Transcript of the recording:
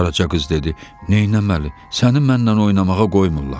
Qaraca qız dedi: "Neyləməli, səni mənlə oynamağa qoymurlar."